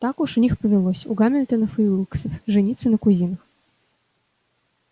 так уж у них повелось у гамильтонов и уилксов жениться на кузинах